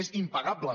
és impagable